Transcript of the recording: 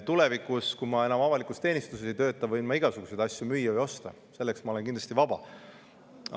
Tulevikus, kui ma enam avalikus teenistuses ei tööta, võin ma igasuguseid asju müüa või osta, selleks on mul kindlasti vabadus.